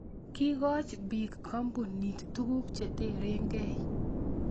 Kikoch biikkoombuniit tuguk cheterenkey